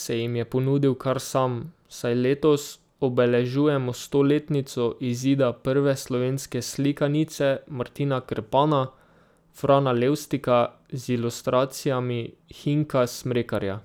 se jim je ponudil kar sam, saj letos obeležujemo stoletnico izida prve slovenske slikanice Martina Krpana Frana Levstika z ilustracijami Hinka Smrekarja.